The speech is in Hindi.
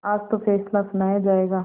आज तो फैसला सुनाया जायगा